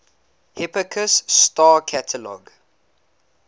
hipparchus star catalog